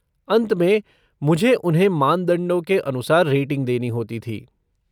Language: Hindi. अंत में, मुझे उन्हें मानदंडों के अनुसार रेटिंग देनी होती थी।